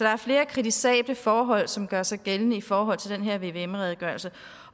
er flere kritisable forhold som gør sig gældende i forhold til den her vvm redegørelse